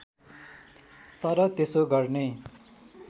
तर त्यसो गर्ने